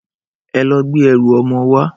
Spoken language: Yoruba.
Ẹ lọ gbé ẹrù ọmọ wá!